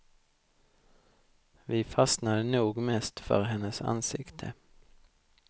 Vi fastnade nog mest för hennes ansikte.